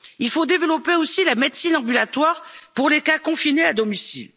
à réagir. Il faut développer aussi la médecine ambulatoire pour les cas confinés